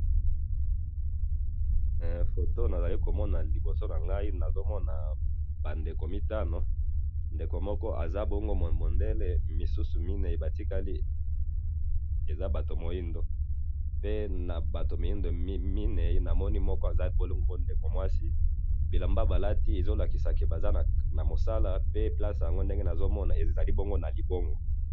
photo nazili komona liboso nangai nazo mona ba ndeko mitanu ndeko moko aza bongo mondele misusu mine ba tikali eza batu ya moido pe nabatu mine na moni moko eza ndeko mwasi bilamba ba lati ezo lakisa ka basa na mosala pe place ndenge nazo mona ezali bongo nalibongo